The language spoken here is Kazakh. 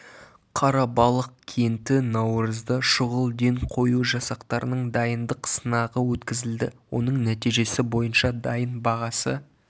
қарабалық кенті наурызда шұғыл ден қою жасақтарының дайындық сынағы өткізілді оның нәтижесі бойынша дайын бағасы